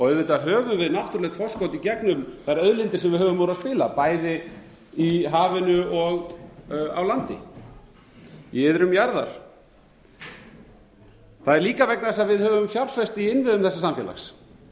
auðvitað höfum við náttúrulegt forskot í gegnum þær auðlindir sem við höfum úr að spila bæði í hafinu og á landi í iðrum jarðar það er líka vegna þess að við höfum fjárfest í innviðum þessa samfélags